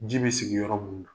Ji bɛ sigiyɔrɔ munu na.